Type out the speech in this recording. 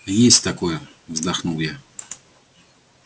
есть такое вздохнул я